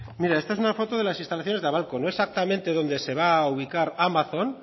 mire esta es una foto de las instalaciones de la babcock no exactamente dónde se va a ubicar amazon